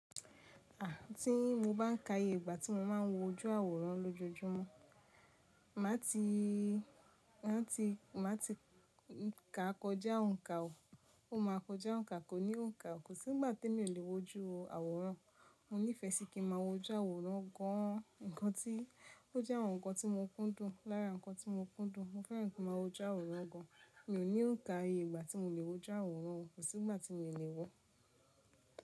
Àh ti mo bá n ka iyè ìgbà tí mo máa ń wo ojú àwòrán lójojúmọ́, má ti, má ti, má ti ka kọjá òǹkà o, o máa kọjá òǹkà, kò ní òǹkà o. Kò sí ìgbà tí emi o le wo ojú àwòrán, mo nífẹ̀ẹ́ sí kí ma wo ojú àwòrán gan an, nǹkan tí, o jẹ́ àwọn nǹkan tí mo kúndùn lára nǹkan tí mo kúndùn, mo fẹ́ràn kí ma wo ojú àwòrán gan an, mi ò ní òǹkà iyè ìgbà tí mo le wo ojú àwòrán o, kò sí ìgbà tí mi o le wo.